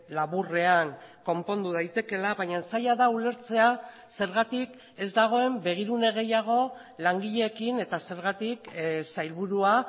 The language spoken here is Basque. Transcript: laburrean konpondu daitekeela baina zaila da ulertzea zergatik ez dagoen begirune gehiago langileekin eta zergatik sailburua